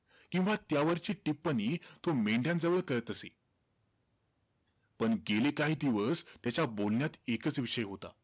किंवा त्यावरची टिप्पणी तो मेंढयांजवळ करीत असे. पण गेले काही दिवस त्याच्या बोलण्यात एकंच विषय होता.